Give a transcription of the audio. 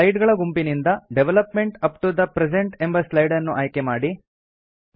slide ಗಳ ಗುಂಪಿನಿಂದ development up to the present ಎಂಬ ಸ್ಲೈಡ್ ಅನ್ನು ಆಯ್ಕೆ ಮಾಡಿ